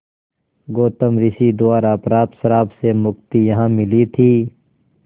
गौतम ऋषि द्वारा प्राप्त श्राप से मुक्ति यहाँ मिली थी